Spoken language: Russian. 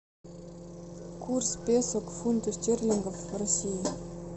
курс песо к фунту стерлингов в россии